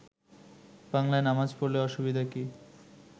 বাংলায় নামাজ পড়লে অসুবিধা কি